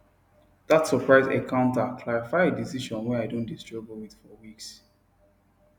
that surprise encounter clarify a decision wey i don dey struggle with for weeks